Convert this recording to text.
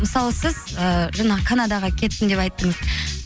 мысалы сіз ыыы жаңағы канадаға кеттім деп айттыңыз